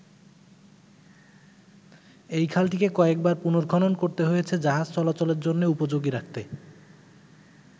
এই খালটিকে কয়েকবার পুনর্খনন করতে হয়েছে জাহাজ চলাচলের জন্যে উপযোগী রাখতে।